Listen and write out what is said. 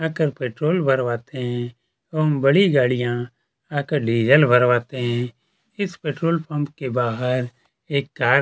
आकर पेट्रोल भरवाते है एवं बड़ी गाड़ियाँ आकर डीजल भरवाते है इस पेट्रोल पंप के बाहर एक कार --